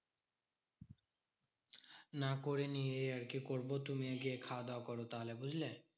না করিনি এই আরকি করবো, তুমিও গিয়ে খাওয়াদাওয়া করো তাহলে বুঝলে?